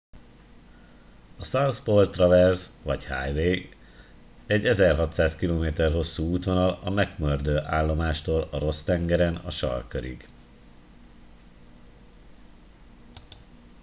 a south pole traverse vagy highway egy 1600 km hosszú útvonal a mcmurdo állomástól a ross-tengeren a sarkkörig